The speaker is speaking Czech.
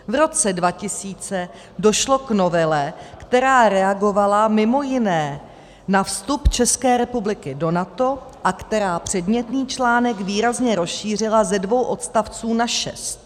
V roce 2000 došlo k novele, která reagovala mimo jiné na vstup České republiky do NATO a která předmětný článek výrazně rozšířila ze dvou odstavců na šest.